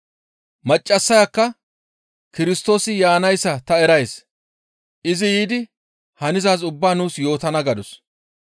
Maccassayakka, «Kirstoosi yaanayssa ta erays; izi yiidi hanizaaz ubbaa nuus yootana» gadus.